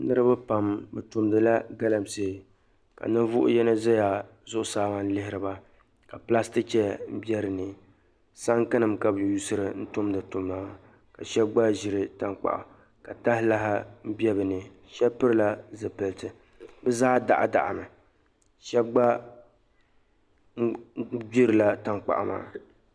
Niriba pam bɛ tumdila galamsee ka ninvuɣ' yino zaya zuɣusaa maa n-lihiri ba ka pilasitiki chaya be di ni. Saŋkinima ka bɛ yuuri n-tumdi tuma maa ka shɛba gba ʒiri taŋkpaɣu ka tahalahi be di ni. Shɛba pilila zipiliti. Bɛ zaa daɣidaɣimi. Shɛba gba gbirila taŋkpaɣu maa.